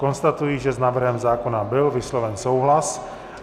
Konstatuji, že s návrhem zákona byl vysloven souhlas.